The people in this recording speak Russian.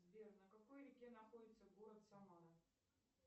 сбер на какой реке находится город самара